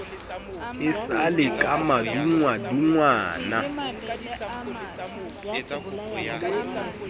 e sa le ka madungwadungwana